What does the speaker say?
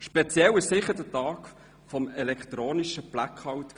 Speziell war sicher der Tag des elektronischen Blackouts.